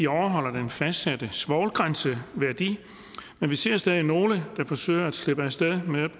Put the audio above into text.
overholder den fastsatte svovlgrænseværdi men vi ser stadig nogle der forsøger at slippe af sted med at